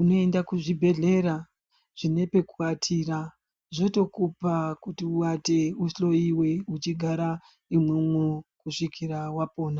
unoenda kuzvibhehlera zvinepeku batira zvotokupa kuti uwate uhloyiwe uchigara imwo mwo kusvikira wapona